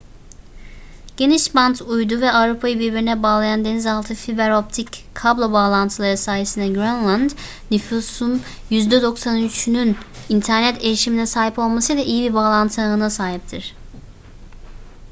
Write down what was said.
genişbant uydu ve avrupayı birbirine bağlayan deniz altı fiber optik kablo bağlantıları sayesinde grönland nüfusun %93'ünün internet erişimine sahip olmasıyla iyi bir bağlantı ağına sahiptir